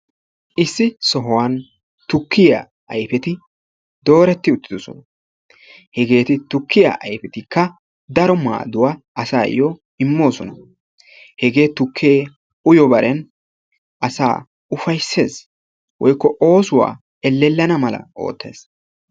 Issi sohuwan tukkiya ayfeti dooreti uttidoosona. Heegeti tukkiya ayfetikka daro maadduwa asayo immoosona. Heege tukke uyo baren asaa ufayssees woykko oosuwawau elellana mala oottees.